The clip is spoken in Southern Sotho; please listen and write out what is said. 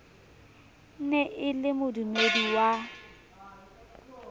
ne e le modumedi wa